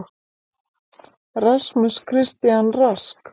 RASMUS CHRISTIAN RASK